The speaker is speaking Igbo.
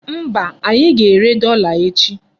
Mba, anyị ga-ere dọla echi.